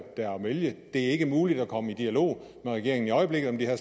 er at vælge det er ikke muligt at komme i dialog med regeringen i øjeblikket om de her